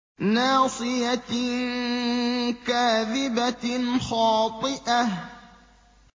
نَاصِيَةٍ كَاذِبَةٍ خَاطِئَةٍ